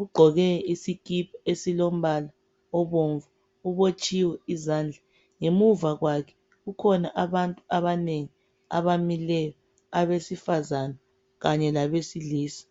ugqoke isikipa esilombala obomvu ubotshiwe izandla. Ngemuva kwakhe kukhona abantu abanengi abamileyo, abesifazane kanye labesilisa.